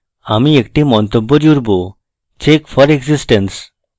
আমি একটি মন্তব্য জুড়ব check for existence